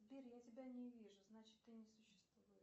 сбер я тебя не вижу значит ты не существуешь